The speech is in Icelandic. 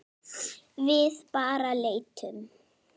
Við bara leitum.